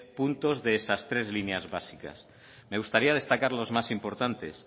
puntos de estas tres líneas básicas me gustaría destacar los más importantes